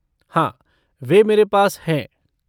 हाँ, वे मेरे पास हैं।